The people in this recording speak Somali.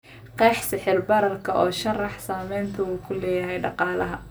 qeex sicir bararka oo sharax saamaynta uu ku leeyahay dhaqaalaha